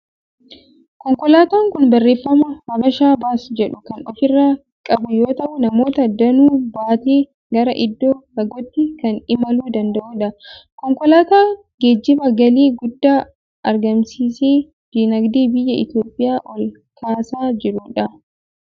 Konkolaataan kun barreeffama 'Habesha Bus' jedhu kan ofirraa qabu yoo ta'u, namoota danuu baatee gara iddoo fagootti kan imaluu danda'udha. Konkolaataa geejjibaan galii guddaa argamsiisee dinagdee biyya Itoophiyaa ol kaasaa jirudha.